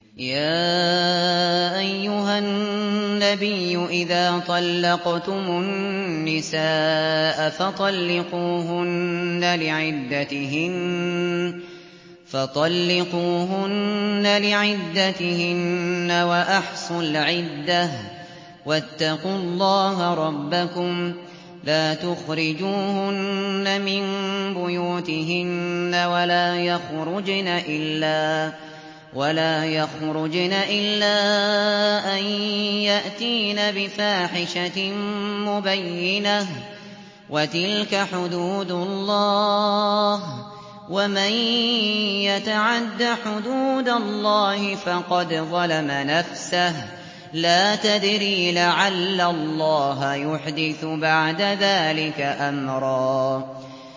يَا أَيُّهَا النَّبِيُّ إِذَا طَلَّقْتُمُ النِّسَاءَ فَطَلِّقُوهُنَّ لِعِدَّتِهِنَّ وَأَحْصُوا الْعِدَّةَ ۖ وَاتَّقُوا اللَّهَ رَبَّكُمْ ۖ لَا تُخْرِجُوهُنَّ مِن بُيُوتِهِنَّ وَلَا يَخْرُجْنَ إِلَّا أَن يَأْتِينَ بِفَاحِشَةٍ مُّبَيِّنَةٍ ۚ وَتِلْكَ حُدُودُ اللَّهِ ۚ وَمَن يَتَعَدَّ حُدُودَ اللَّهِ فَقَدْ ظَلَمَ نَفْسَهُ ۚ لَا تَدْرِي لَعَلَّ اللَّهَ يُحْدِثُ بَعْدَ ذَٰلِكَ أَمْرًا